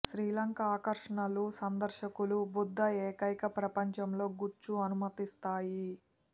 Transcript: శ్రీలంక ఆకర్షణలు సందర్శకులు బుద్ధ ఏకైక ప్రపంచంలో గుచ్చు అనుమతిస్తాయి